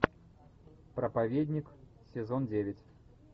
проповедник сезон девять